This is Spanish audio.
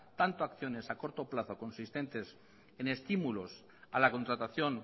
tanto acciones a corto plazo consistentes en estímulos a la contratación